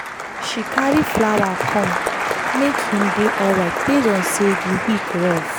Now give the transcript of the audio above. she carry flower come make him dey alright based on say the week rough